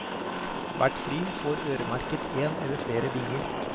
Hvert fly får øremerket en eller flere binger.